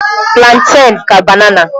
Plantèn ka banana.